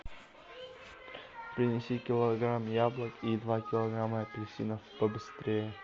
принеси килограмм яблок и два килограмма апельсинов побыстрее